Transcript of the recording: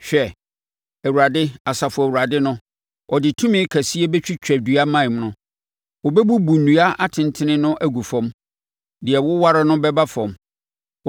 Hwɛ, Awurade, Asafo Awurade no, ɔde tumi kɛseɛ bɛtwitwa dua mman no. Wɔbɛbubu nnua atentene no agu fam; deɛ ɛwoware no bɛba fam.